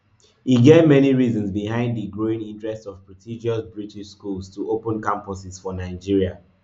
e get many reasons behind di growing interest of prestigious british schools to open campuses for nigeria